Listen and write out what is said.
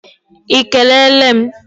I kelele m?